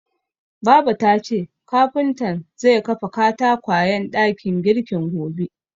Baba tace kafuntan zai kafa katakwayen dakin girkin gobe.